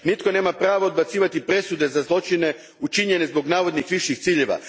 Nitko nema pravo odbacivati presude za zločine učinjene zbog navodnih viših ciljeva.